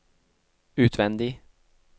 utvendig